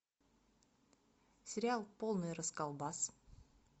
сериал полный расколбас